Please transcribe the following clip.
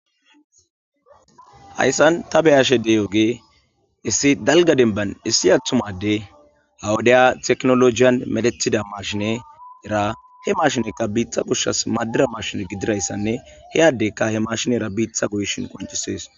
Hayssan ta beyashede yooge issi dalga denban issi athumade awudeya teknolojiyan medethida mashine era he mashinekka biitha gushsas madira mashine gidirayssanne heyadeykka he mashinera biitha guyishin qoncisees.